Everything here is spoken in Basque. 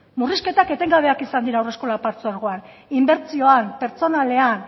murrizketak etengabeak izan dira haurreskola partzuegoan inbertsioan pertsonalean